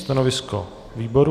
Stanovisko výboru?